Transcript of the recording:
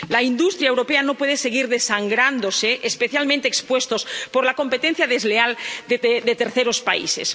La industria europea no puede seguir desangrándose, especialmente expuesta por la competencia desleal de terceros países.